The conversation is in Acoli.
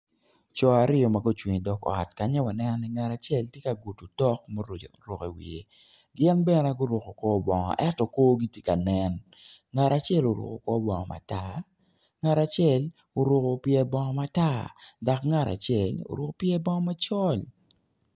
Co aryo ma gucung i dog ot kanya waneno ni ngat acel ti ka gudu otok ma oruku i wiye gin bene guruku kobongo eto korgi ti ka nen ngat acel oruku kobongo matar ngat acel oruku pyer bongo matar dok ngat acel oruku pyer bongo macol